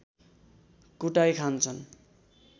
कुटाई खान्छन्